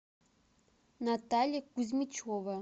наталья кузьмичева